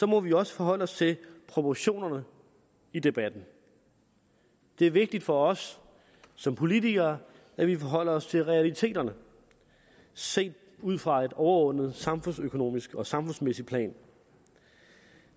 må vi også forholde os til proportionerne i debatten det er vigtigt for os som politikere at vi forholder os til realiteterne set ud fra et overordnet samfundsøkonomisk og samfundsmæssigt plan